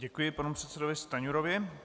Děkuji panu předsedovi Stanjurovi.